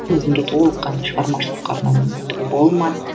өзімді толыққанды шығармашылыққа арнау мүмкіндігі болмады